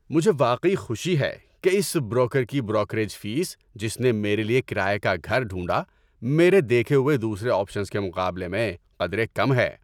مجھے واقعی خوشی ہے کہ اس بروکر کی بروکریج فیس جس نے میرے لیے کرایے کا گھر ڈھونڈا، میرے دیکھے ہوئے دوسرے آپشنز کے مقابلے میں قدرے کم ہیں۔